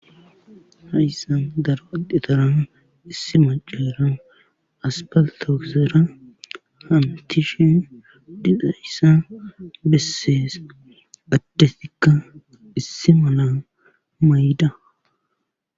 Hayssan daro addetara issi macera aspaltte ogera hamutishe dizayssa besees. addetikka issi mala mayida.